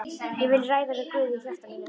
Ég vil ræða við Guð í hjarta mínu.